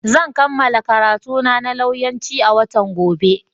Zan kammala karantuna na lauyanci a watan gobe.